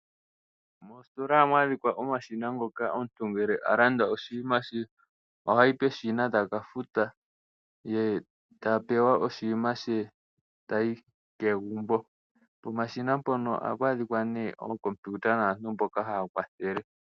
Moositola ohamu adhika omashina, mpoka omuntu ha yi uuna ta landa oshnima she, opo a fute, ye taya yi kegumbo. Pomashina mpono ohapu adhika nduno ookompiuta naantu mboka haya kwathele.